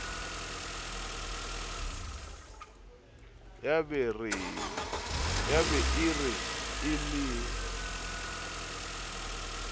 ya be e re elellisitswe